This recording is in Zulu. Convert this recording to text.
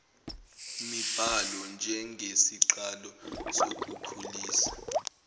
mibhalo njengesiqalo sokukhulisa